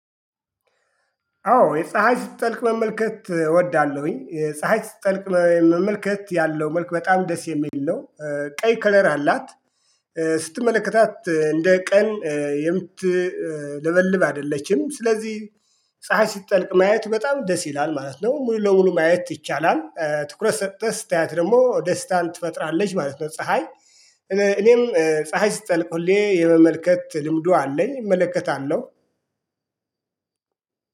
አዎ የፀሀይ ስትጠልቅ መመልከት እወዳለሁኝ የፀሀይ ስትጠልቅ መመልከት ያለው መልክ በጣም ደስ የሚል ነው። ቀይ ከለራ አላት ስትመለከታት እንደ ቀን የምትለበልብ አይደለችም። ስለዚህ ፀሀይ ስጠልቅ ማየት በጣም ደስ ይላል ማለት ነው። ሙሉ ለሙሉ ማየት ይቻላል ትኩረት ሰተህ ስታያት ደግሞ ደስታን ትፈጥራለች ማለት ነው። ፀሀይ እኔም ፀሀይ ሲጠልቁልኝ የመመልከት ልምዱ አለኝ እመለከታለሁ